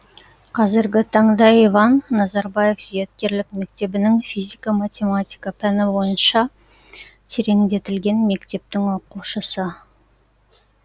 қазіргі таңда иван назарбаев зияткерлік мектебінің физика математика пәні бойынша тереңдетілген мектептің оқушысы